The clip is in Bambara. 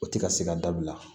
O tɛ ka se ka dabila